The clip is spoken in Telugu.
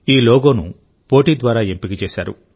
ఈ లోగోను పోటీ ద్వారా ఎంపిక చేశారు